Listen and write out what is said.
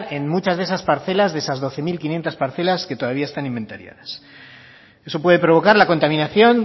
en muchas de esas parcelas de esas doce mil quinientos parcelas que todavía están inventariadas eso puede provocar la contaminación